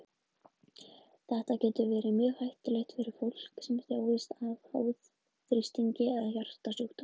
Þetta getur verið mjög hættulegt fyrir fólk sem þjáist af háþrýstingi eða hjartasjúkdómum.